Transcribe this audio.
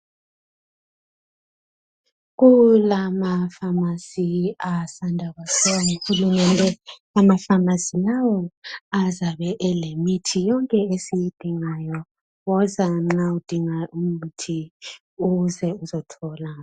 Kulamafamasi asanda kwakhiwa nguHulumende, amafamasi lawo azabe elemithi yonke esiyidingayo hoza nxa udinga umithi, uze uzothola.